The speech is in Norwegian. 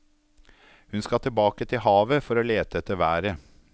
Hun skal tilbake til havet for å lete etter været.